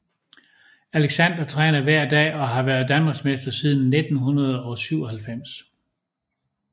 Alexander træner hver dag og har været Danmarksmester siden 1997